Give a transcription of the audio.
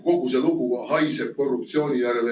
Kogu see lugu haiseb korruptsiooni järele.